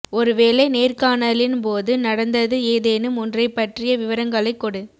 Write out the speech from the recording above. ஒரு வேலை நேர்காணலின் போது நடந்தது ஏதேனும் ஒன்றைப் பற்றிய விவரங்களைக் கொடு